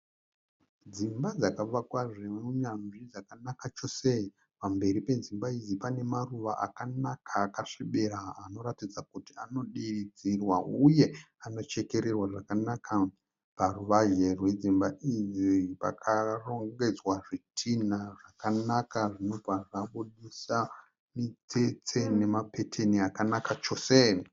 Dzimba dzakavakwa zvineuneuyanzvi dzakanaka chose. Pamberi pedzimba idzi pane maruva akanaka akasvibira anoratidza kuti anodiridzirwa uye anochekererwa zvakanaka. Paruvanze rwedzimba idzi pakarongedzwa zvitinha zvakanaka zvinobva zvinobudisa mitsetse nemapeteni akanaka chose.